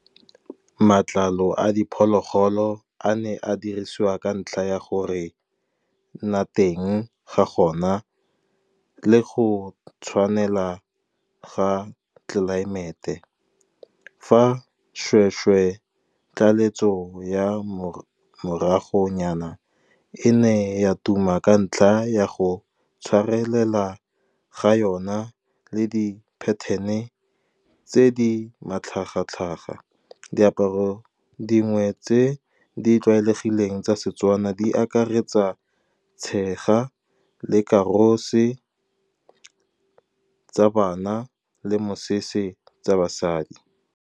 Matlalo a diphologolo a ne a dirisiwa ka ntlha ya gore nna teng ga gona le go tshwanela ga tlelaemete. Fa seshweshwe, tlaletso ya moragonyana, e ne ya tuma ka ntlha ya go tshwarelela ga yona le di-pattern-e tse di matlhaga-tlhaga. Diaparo dingwe tse di tlwaelegileng tsa Setswana di akaretsa tshega lekarose tsa bana, le mosese tsa basadi.